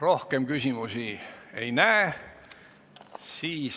Rohkem küsimusi ei näe.